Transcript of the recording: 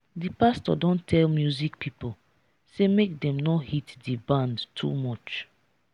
di pastor don tell music pipo sey make dem no hit di band too much.